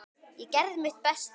Ég gerði mitt besta.